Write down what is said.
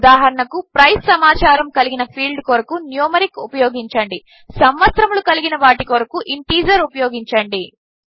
ఉదాహరణకు ప్రైస్ సమాచారము కలిగిన ఫీల్డ్ కొరకు న్యూమరిక్ ఉపయోగించండి సంవత్సరములు కలిగిన వాటి కొరకు ఇంటీజర్ ఉపయోగించండి